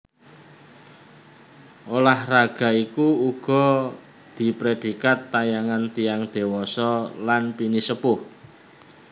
Ulah raga iku uga diprèdikat tayangan tiyang dewasa lan pinisepuh